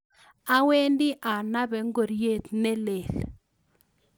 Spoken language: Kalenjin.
Awendi anape ngoriet ne leel